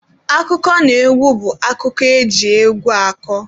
Akụkọnaegwu bụ akụkọ eji egwu akọ